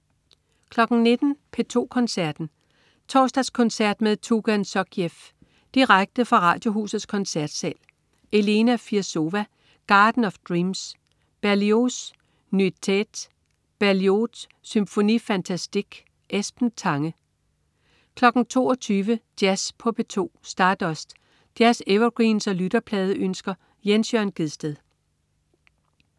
19.00 P2 Koncerten. Torsdagskoncert med Tugan Sokhiev. Direkte fra Radiohusets Koncertsal. Elena Firsova: Garden of Dreams. Berlioz: Nuits d'Eté. Berlioz: Symphonie fantastique. Esben Tange 22.00 Jazz på P2. Stardust. Jazz-evergreens og lytterpladeønsker. Jens Jørn Gjedsted